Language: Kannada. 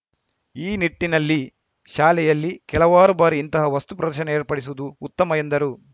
ಈ ನಿಟ್ಟಿನಲ್ಲಿ ಶಾಲೆಯಲ್ಲಿ ಕೆಲವಾರು ಬಾರಿ ಇಂತಹ ವಸ್ತು ಪ್ರದರ್ಶನ ಏರ್ಪಡಿಸುವುದು ಉತ್ತಮ ಎಂದರು